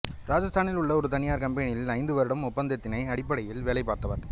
ராஜஸ்தானில் உள்ள ஒரு தனியார் கம்பெனியில் ஐந்து வருட ஒப்பந்தத்தின் அடிப்படையில் வேலை பார்த்தவர்